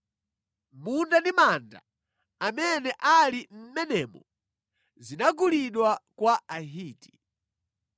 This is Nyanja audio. Munda ndi manda amene ali mʼmenemo zinagulidwa kwa Ahiti.”